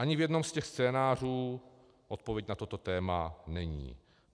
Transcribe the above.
Ani v jednom z těch scénářů odpověď na toto téma není.